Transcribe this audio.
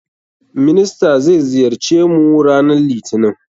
Minister zai ziyarce mu ranan litinin.